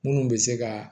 Minnu bɛ se ka